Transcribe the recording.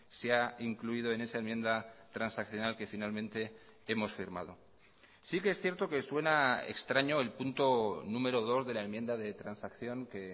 se ha incluido en esa enmienda transaccional que finalmente hemos firmado sí que es cierto que suena extraño el punto número dos de la enmienda de transacción que